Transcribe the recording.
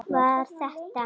Var þetta?